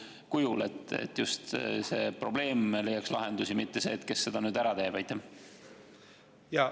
just see, et probleem leiaks lahenduse, mitte see, kes selle ära teeb.